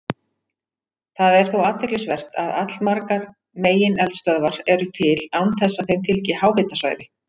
Það er þó athyglisvert að allmargar megineldstöðvar eru til án þess að þeim fylgi háhitasvæði.